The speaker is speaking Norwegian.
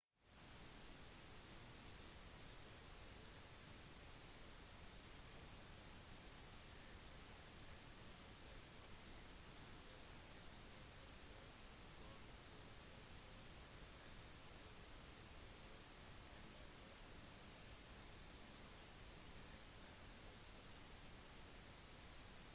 add har stor påvirkning på forholdet til andre jevnaldrende ettersom de andre barna ikke forstår hvorfor de oppfører seg eller staver slik de gjør eller hvorfor modenhetsnivået deres er forskjellig